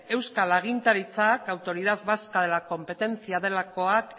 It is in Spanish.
euskal agintaritzak autoridad vasca de la competencia delakoak